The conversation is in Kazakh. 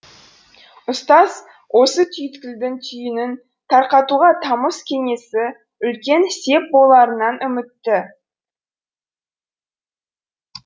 ұстаз осы түйткілдің түйінін тарқатуға тамыз кеңесі үлкен сеп боларынан үмітті